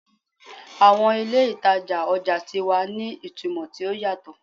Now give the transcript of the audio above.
Awọn ile itaja ọja ti wa ni itumọ ti o yatọ